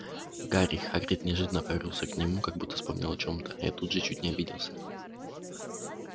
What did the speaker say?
гарри хагрид неожиданно повернулся к нему как будто вспомнил о чем-то я тут чуть не обиделся